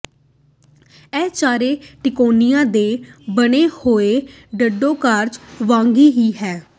ਇਹ ਚਾਰੇ ਤਿਕੋਣਿਆਂ ਦੇ ਬਣੇ ਹੋਏ ਡੌਡੇਕਗ੍ਰਾਗ ਵਾਂਗ ਹੀ ਹੈ